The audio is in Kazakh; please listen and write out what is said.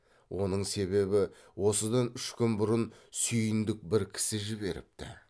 оның себебі осыдан үш күн бұрын сүйіндік бір кісі жіберіпті